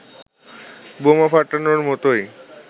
বোমা ফাটানোর মতোই